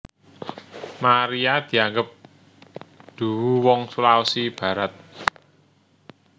Maria dianggep duwu wong Sulawesi Barat